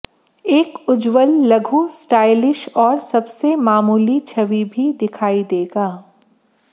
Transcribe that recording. एक उज्ज्वल लघु स्टाइलिश और सबसे मामूली छवि भी दिखाई देगा